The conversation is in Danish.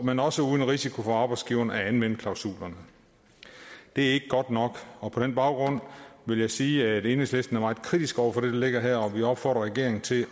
men også uden risiko for arbejdsgiveren at anvende klausulerne det er ikke godt nok og på den baggrund vil jeg sige at enhedslisten er meget kritisk over for det der ligger her og vi opfordrer regeringen til